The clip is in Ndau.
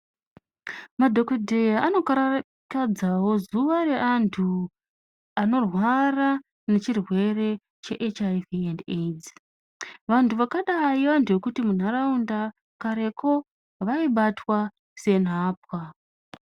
Madhokodheya anokara kadzawo zuwa reantu anorwara ngechirwere che HIV and Aids . Vantu zvakadai vantu zvekuti muntaraunda kareko vaibatwa senhapwa.